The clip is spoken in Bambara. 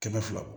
Kɛmɛ fila